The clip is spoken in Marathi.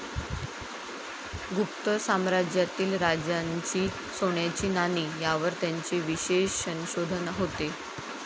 गुप्त साम्राज्यातील राजांची सोन्याची नाणी यावर त्यांचे विशेष संशोधन होते.